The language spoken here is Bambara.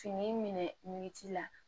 Fini minɛ la